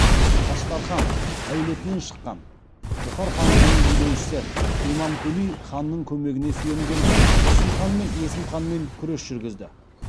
аштархан әулетінен шыққан бұхар хандығының билеушісі имамкули ханның көмегіне сүйенген тұрсынханмен есімханмен күрес жүргізді